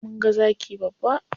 Mun ga zaki babba.